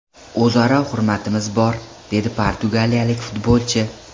O‘zaro hurmatimiz bor”, – dedi portugaliyalik futbolchi.